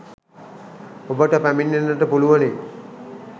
ඔබට පැමිණෙන්නට පුළුවනි.